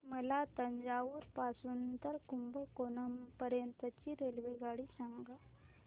मला तंजावुर पासून तर कुंभकोणम पर्यंत ची रेल्वेगाडी सांगा